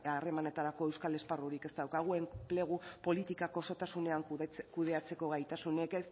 harremanetarako euskal esparrurik ez daukagu enplegu politikak osotasunean kudeatzeko gaitasunik